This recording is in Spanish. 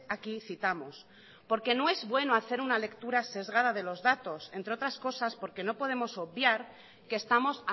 aquí citamos porque no es bueno hacer una lectura sesgada de los datos entre otras cosas porque no podemos obviar que estamos